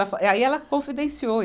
Ela fa, e aí ela confidenciou.